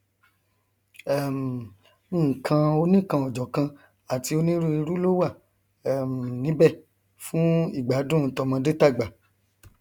um nkan oníkanòjọkan àti onírúirú ló wà um níbẹ fún ìgbádùn tọmọdé tàgbà